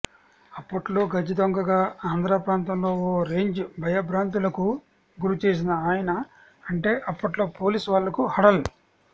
అప్పట్లో గజదొంగగా ఆంధ్రా ప్రాంతంలో ఓ రేంజ్ భయభ్రాంతులకు గురిచేసిన ఆయన అంటే అప్పట్లో పోలీస్ వాళ్లకు హడల్